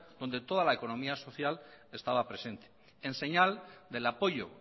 donde toda la economía social estaba presente en señal del apoyo